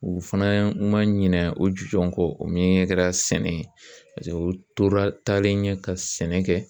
U fana ma ɲinɛ o ju jɔ ko o min kɛra sɛnɛ ye u tora taalen ɲɛ ka sɛnɛ kɛ